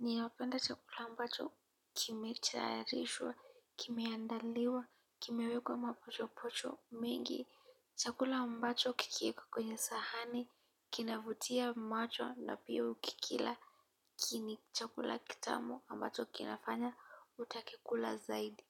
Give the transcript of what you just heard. ni inapenda chakula ambacho kimetayarishwa, kimeandaliwa, kimewekwa mapocho pocho mengi, chakula ambacho kikiwekwa kwenye sahani, kinavutia macho na pia ukikila, kini chakula kitamu ambacho kinafanya utake kula zaidi.